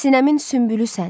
Sinəmin sünbülüsən.